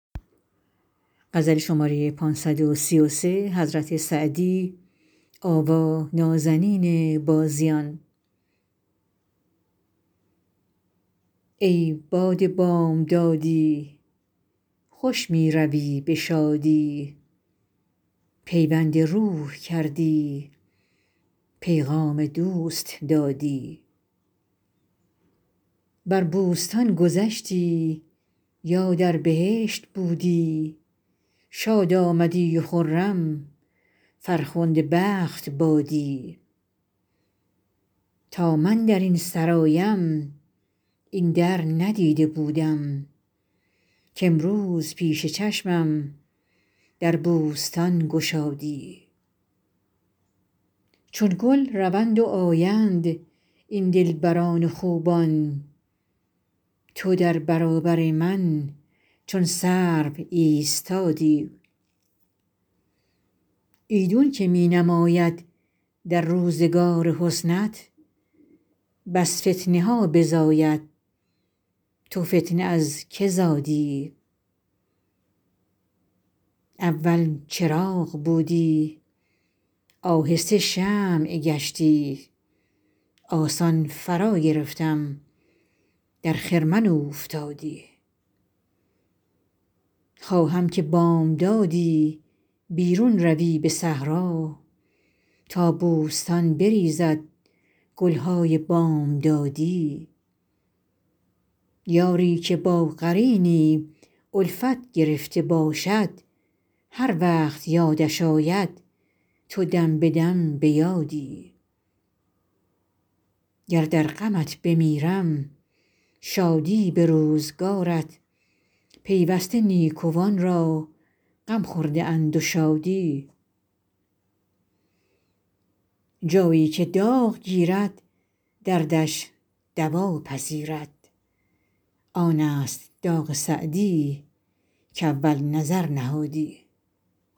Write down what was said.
ای باد بامدادی خوش می روی به شادی پیوند روح کردی پیغام دوست دادی بر بوستان گذشتی یا در بهشت بودی شاد آمدی و خرم فرخنده بخت بادی تا من در این سرایم این در ندیده بودم کامروز پیش چشمم در بوستان گشادی چون گل روند و آیند این دلبران و خوبان تو در برابر من چون سرو بایستادی ایدون که می نماید در روزگار حسنت بس فتنه ها بزاید تو فتنه از که زادی اول چراغ بودی آهسته شمع گشتی آسان فراگرفتم در خرمن اوفتادی خواهم که بامدادی بیرون روی به صحرا تا بوستان بریزد گل های بامدادی یاری که با قرینی الفت گرفته باشد هر وقت یادش آید تو دم به دم به یادی گر در غمت بمیرم شادی به روزگارت پیوسته نیکوان را غم خورده اند و شادی جایی که داغ گیرد دردش دوا پذیرد آن است داغ سعدی کاول نظر نهادی